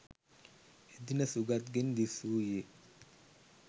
එදින සුගත් ගෙන් දිස්‌වූයේ